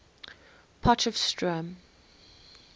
potchefstroom